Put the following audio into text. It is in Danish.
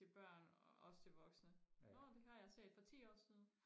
til børn og også til voksne nårh det har jeg set for ti år siden